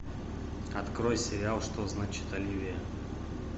открой сериал что значит оливия